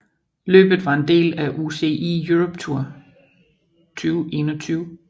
Løbet var en del af UCI Europe Tour 2021